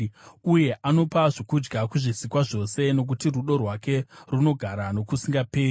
uye anopa zvokudya kuzvisikwa zvose. Nokuti rudo rwake runogara nokusingaperi.